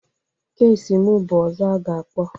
Kesi m bụ ọzọ aga-akpọ.